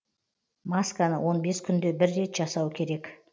масканы он бес күнде бір рет жасау керек